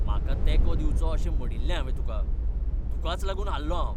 म्हाका तेंको दिवचो अशें म्हणिल्लें हांवें तुका! तुकाच लागून हारलों हांव!